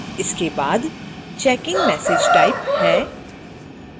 इसके बाद checkin message type है